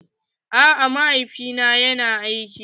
A'a mahaifi na yana aiki.